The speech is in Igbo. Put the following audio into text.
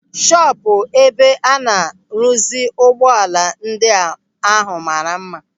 Shọpụ ebe a na-rụzi ụgbọala ndị ahụ mara mma.